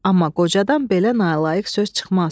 Amma qocadan belə nalayiq söz çıxmaz.